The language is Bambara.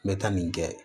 N bɛ taa nin kɛ